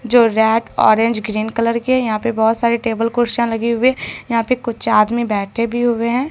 जो rack orange green colour के यहां पे बहोत सारे टेबल कुर्सियां लगे हुए यहां पे कुछ आदमी बैठे भी हुए हैं।